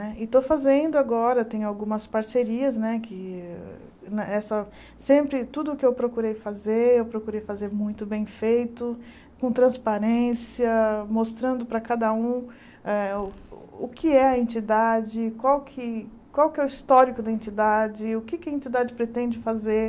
Né e estou fazendo agora, tenho algumas parcerias né que, né essa sempre tudo que eu procurei fazer, eu procurei fazer muito bem feito, com transparência, mostrando para cada um eh o o que é a entidade, qual que qual que é o histórico da entidade, o que a entidade pretende fazer.